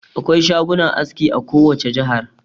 Akwai shagunan aski a kowace jihar.